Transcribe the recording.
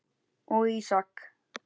og Ísak.